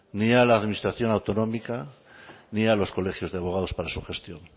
ni a la administración autonómica ni a los colegios de abogados para su gestión